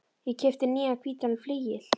Ég keypti nýjan hvítan flygil.